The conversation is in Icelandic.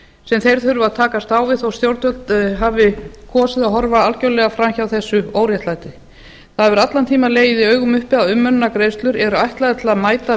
sem þeir þurfa að takast á við þó stjórnvöld hafi kosið að horfa algerlega fram hjá þessu óréttlæti það hefur allan tímann legið í augum uppi að umönnunargreiðslur eru ætlaðar til að mæta